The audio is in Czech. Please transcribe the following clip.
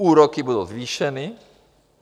Úroky budou zvýšeny.